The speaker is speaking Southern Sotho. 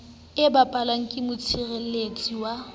e bapalwang ke motshireletsi wa